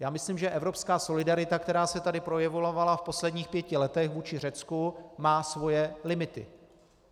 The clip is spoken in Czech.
Já myslím, že evropská solidarita, která se tady projevovala v posledních pěti letech vůči Řecku, má svoje limity.